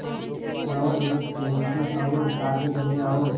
जाओ एक पेन्सिल और कागज़ ले आओ